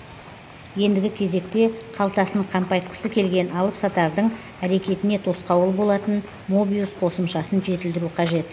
ендігі кезекте қалтасын қампайтқысы келген алыпсатарлардың әрекетіне тосқауыл болатын мобиус қосымшасын жетілдіру қажет